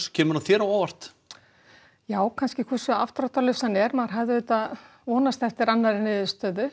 kemur hann þér á óvart já hversu afdráttarlaus hann er maður vonaðist eftir annarri niðurstöður